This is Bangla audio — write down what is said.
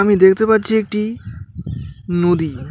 আমি দেখতে পাচ্ছি একটি নদী.